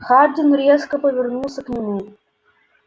хардин резко повернулся к нему